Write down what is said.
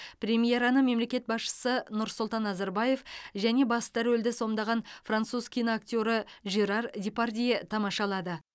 премьераны мемлекет басшысы нұрсұлтан назарбаев және басты рөлді сомдаған француз киноактері жерар депардье тамашалады